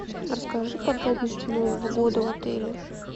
расскажи подробности нового года в отеле